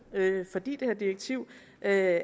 at